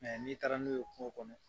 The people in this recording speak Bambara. n'i taara n'o ye kungo kɔnɔ